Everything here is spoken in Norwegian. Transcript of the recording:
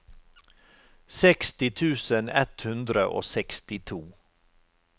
seksti tusen ett hundre og sekstito